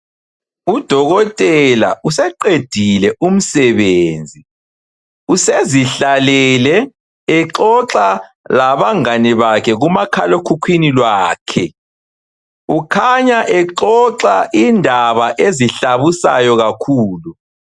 Udokotela useqedile umsebenzi usezihlalele exoxa labangane bakhe kumakhalekhukhwini lwakhe, ukhanya exoxa indaba ezihlabusayo kakhulu.